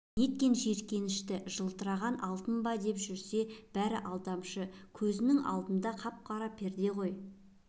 неткен жиіркенішті жылтырағанға алтын ба деп жүрсе бәрі алдамшы көзінің алды қара перде екен ғой